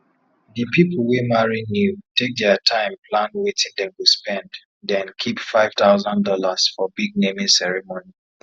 di people wey marry new take their time plan watin dem go spend den keep five thousand dollars for big naming ceremony